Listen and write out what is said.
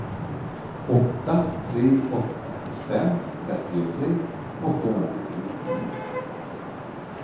åtta tre åtta fem trettiotre åttahundranittionio